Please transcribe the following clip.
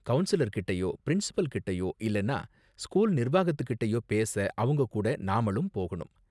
Councillor கிட்டயோ, principal கிட்டயோ, இல்லனா ஸ்கூல் நிர்வாகத்து கிட்டயோ பேச அவங்க கூட நாமளும் போகணும்.